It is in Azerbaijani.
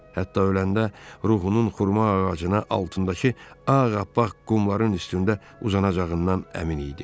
Hətta öləndə ruhunun xurma ağacının altındakı ağappaq qumların üstündə uzanacağından əmin idi.